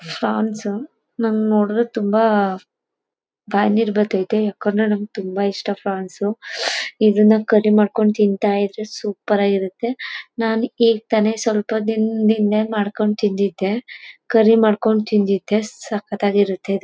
France ನಂಗೆ ನೋಡಿದ್ರೆ ತುಂಬಾ ಬಾಯಲ್ಲಿ ನೀರು ಬರತೈತೆ ಯಾಕಂದ್ರೆ ನಮಗೆ ತುಂಬಾ ಇಷ್ಟ ಪ್ರಾನ್ಸ್ ಇದನ್ನ ಕರಿ ಮಾಡ್ಕೊಂಡು ತಿಂತ ಇದ್ರೆ ಸೂಪರ್ ಆಗಿರುತ್ತೆ ನಾನು ಈಗ್ ತಾನೇ ಸ್ವಲ್ಪ ದಿನದ ಹಿಂದೆ ಮಾಡ್ಕೊಂಡು ತಿಂದಿದ್ದೆ ಕರಿ ಮಾಡ್ಕೊಂಡು ತಿಂದಿದ್ದೆ ಸಖತ್ತಾಗಿರುತ್ತೆ ಇದು.